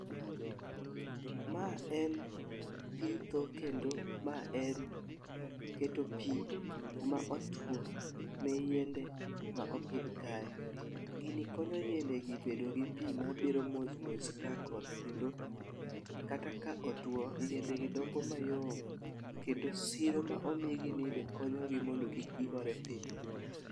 Ma en pitho kendo ma en keto pii kuma otuo ne yiende ma opidh kae. Gini konyo yiende gi bedo gi pii mabiro mosmos kaka koth kendo kata ka otuo yiende gi dongo mayom kendo siro ma omigi ni be konyogi mondo kik gigore piny.